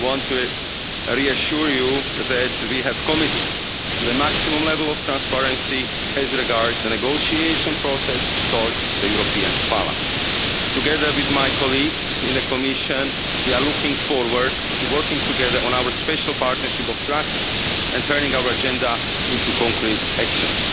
We want to reassure you that we have committed to the maximum level of transparency as regards the negotiation process towards the European Parliament. Together with my colleagues in the Commission, we are looking forward to working together on our special partnership of trust and turning our agenda into concrete